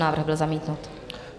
Návrh byl zamítnut.